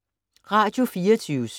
Radio24syv